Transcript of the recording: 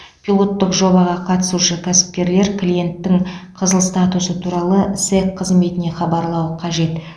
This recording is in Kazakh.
пилоттық жобаға қатысушы кәсіпкерлер клиенттің қызыл статусы туралы сэқ қызметіне хабарлауы қажет